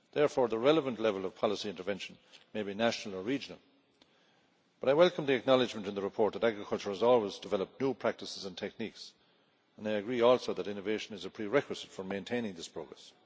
Therefore the relevant level of policy intervention may be national or regional. I welcome the acknowledgment in the report that agriculture has always developed new practices and techniques, and I agree also that innovation is a prerequisite for maintaining this progress.